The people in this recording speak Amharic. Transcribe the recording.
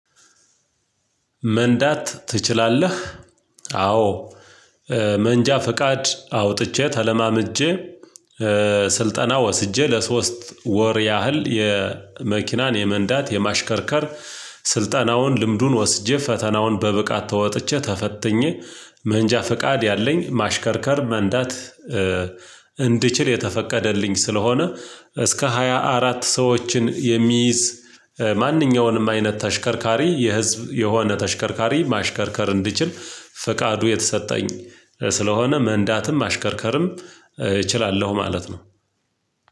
መንዳት ትችላለህ? አዎ መንጃ ፈቃድ አውጥቼ ተለማምጀ ስልጠና ወስጄ ለሶስት ወር ያህል የመኪናን የመንዳት የማሽከርከር ስልጠናውን ልምዱን ወስጄ ፈተናውን በብቃት ተወጥቼ ተፈትኜ መንጃ ፍቃድ ያለኝ ማሽከርከር መንዳት እንድችል የተፈቀደልኝ ስለሆነ እስከ ሃያ አራት ሰዎችን የሚይዝ ማንኛውንም አይነት ተሽከርካሪ የህዝብ የሆነ ተሽከርካሪ ማሽከርከር እንድችል ፍቃዱ የተሰጠኝ ስለሆነ መንዳትም ማሽከርከርም እችላለሁ ማለት ነው።